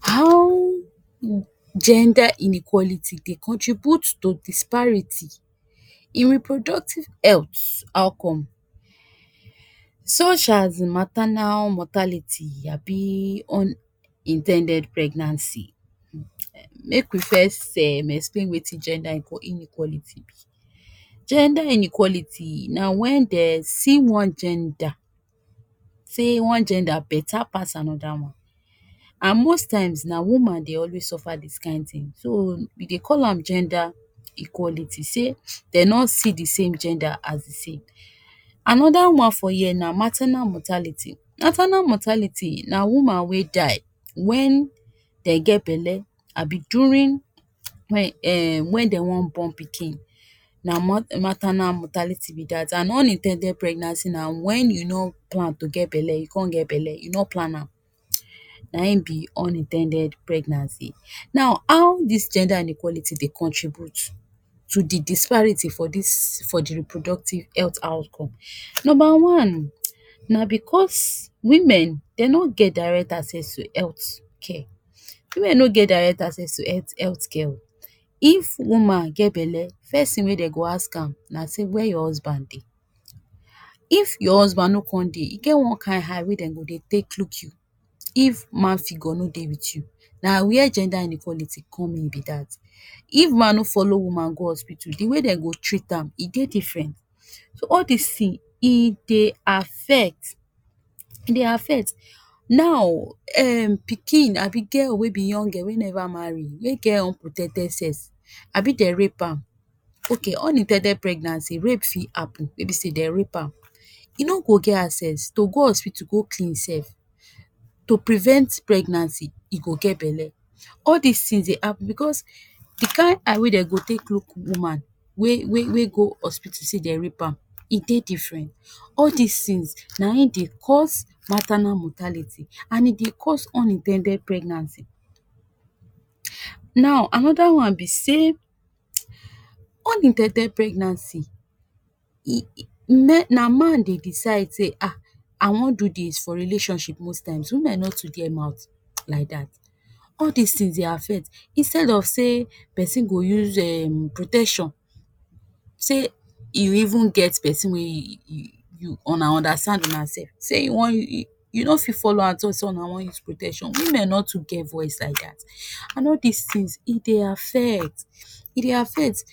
How um gender inequality dey contribute to disparity in reproductive health outcome such as maternal mortality abi unin ten ded pregnancy, make we first um explain wetin gender inequality be. Gender inequality na wen den see one gender, say one gender beta pass another one, and most times na woman dey always suffer dis kain tin, so we dey call am gender equality, sey dey no see di same gender as thesame. Anoda one for here na maternal mortality, maternal mortality na woman wey die wen den get belle abi during wen um wen den wan born pikin, na mo maternal mortality be dat. And unin ten ded pregnancy na wen you no plan tu get belle you con get belle, you no plan am, na im be unin ten ded pregnancy. Now how dis gender inequality dey contribute to di disparity for dis, for di reproductive health outcome. Number one, na bcos women den no get direct access to health care, women no get direct access to healthvhealthcare. If woman get belle, first tin wey dey go ask am na say where your husband de? If your husband no con de, e get one kain eye wey den go dey take look you if man figure no dey wit you, na where gender inequality come in be dat. If man no follow woman go hospital, di way den go treat am e dey different, so all these tin e dey affect, e dey affect. Now um pikin abi girl wey be young girl wey never marry wey get unprotected sex abi dem rape am, okay unin ten ded pregnancy rape fi happen wey be sey den rape am, e no go get access to go hospital go clean im self to prevent pregnancy e go get belle, all dis tins dey hap bcos di kain eye wey den go take look woman wey wey wey go hospital say dem rape am e dey different, all these tins na im dey cause maternal mortality and e dey cause unin ten ded pregnancy. Now anoda one be say, unin ten ded pregnancy e, na na man dey decide say um I wan do dis for relationship most times, women no too get mouth like dat, all dis tins dey affect, instead of sey pesin go use um protection, sey you even get pesin wey you, una understand una self, sey you wan, you no fi follow am talk say una wan use protection, women no too get voice like dat, and soo dis tins e dey affect, e dey affect.